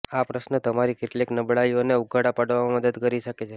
આ પ્રશ્ન તમારી કેટલીક નબળાઈઓને ઉઘાડા પાડવામાં મદદ કરી શકે છે